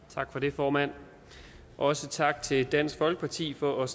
tak for det formand også tak til dansk folkeparti for at